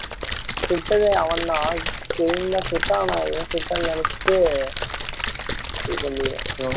சுட்டதே அவன் தான் கெயின் தான் சுட்டான் ஆனா இவ சுட்டானு நினைச்சுட்டு இது பண்ணிடுவான்